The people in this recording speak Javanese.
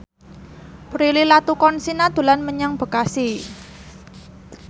Prilly Latuconsina dolan menyang Bekasi